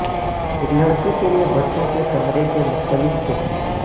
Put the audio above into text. ایک لڑکی کے لئے بچوں کے کمرے کے مختلف قسم